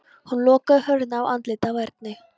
Hann lokaði hurðinni á andlitið á Erni.